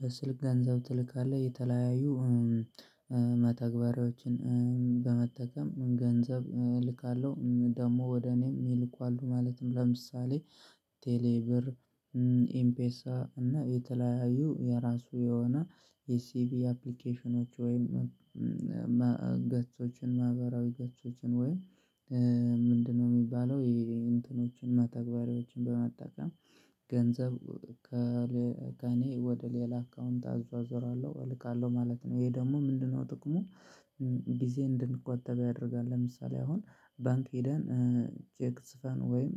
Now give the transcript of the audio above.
በስልክ ገንዘብ ትልካለህ የተለያዩ መተግበሪያዎችን በመጠቀም ገንዘብ እልካለሁ ደግሞ ወደ እኔም ይልካሉ ማለትም ለምሳሌ ቴሌብር ኢምፔሳ እና የተለያዩ የራሱ የሆነ የሲቪ አፕሊኬሽኖች ወይም እና ገጾችን ማህበራዊ ገጾችን ወይ ምንድነው ሚባለው የእንትኖችን መተግበሪያዎችን በመጠቀም ገንዘብ ከእኔ ወደ ሌላ አካውንት አዟዟራለሁ እልካለሁ ማለት ነው። ይሄ ደግሞ ምንድነው ጥቅሙ? ጊዜ እንድንቆጥብ ያደርጋል ለምሳሌ አሁን ባንክ ሄደን ቼክ ጽፈን ወይም